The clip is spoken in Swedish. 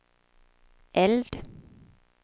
eld